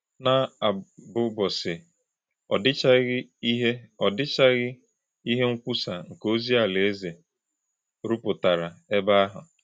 N’àmbụ̀bọ̀sì̄, ọ dị̀chàghì̄ íhè̄ ọ dị̀chàghì̄ íhè̄ nkwùsà̄ nke òzì̄ Àlàézè̄ rụ̀pùtárà̄ èbè̄ àhụ̄.